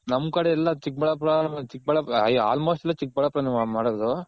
ನಮ್ ಕಡೆ ಎಲ್ಲ ಚಿಕ್ ಬಳ್ಳಾಪುರ ಚಿಕ್ಬಳ್ಳಾಪು Almost ಎಲ್ಲಾ ಚಿಕ್ಬಳ್ಳಾಪುರ ನೆ ಮಾಡೋದು.